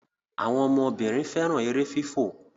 àwọn ọmọ Obìnrin féràn èrè fífọ